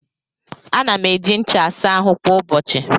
Ana m eji ncha asa ahụ kwa ụbọchị.